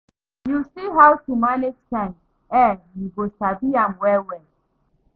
Yu see how to manage time eh you go sabi am well well